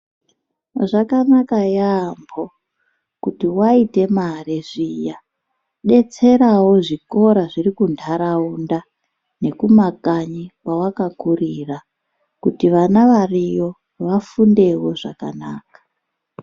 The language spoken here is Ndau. Zvakanaka yaambo kuti waite mare zviya, detserawo zvikora zviri kuntataunda nekumakanyi kwawakakurira, kuti vana variyo, vafundewo zvakanaka.